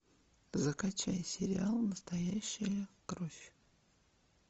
закачай сериал настоящая кровь